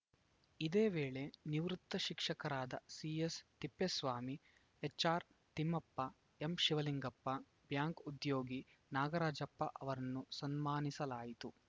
ಇದೇ ವೇಳೆ ನಿವೃತ್ತ ಶಿಕ್ಷಕರಾದ ಸಿಎಸ್‌ತಿಪ್ಪೇಸ್ವಾಮಿ ಎಚ್‌ಆರ್‌ತಿಮ್ಮಪ್ಪ ಎಂಶಿವಲಿಂಗಪ್ಪ ಬ್ಯಾಂಕ್‌ ಉದ್ಯೋಗಿ ನಾಗರಾಜಪ್ಪ ಅವರನ್ನು ಸನ್ಮಾನಿಸಲಾಯಿತು